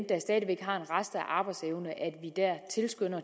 der stadig har en rest af arbejdsevne